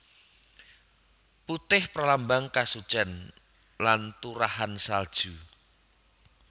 Putih pralambang kasucen lan turahan salju